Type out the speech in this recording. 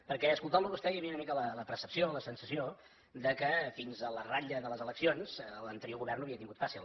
perquè escoltant lo a vostè hi havia una mica la percepció la sensació que fins a la ratlla de les eleccions l’anterior govern ho havia tingut fàcil